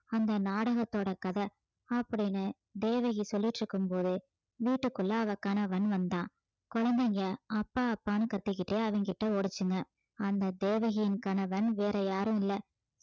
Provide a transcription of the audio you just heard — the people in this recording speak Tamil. அந்த நாடகத்தோட கத அப்படீன்னு தேவகி சொல்லிட்டு இருக்கும்போது வீட்டுக்குள்ள அவ கணவன் வந்தான் குழந்தைங்க அப்பா அப்பான்னு கத்திக்கிட்டு அவன்கிட்ட ஓடுச்சுங்க அந்த தேவகியின் கணவன் வேற யாரும் இல்ல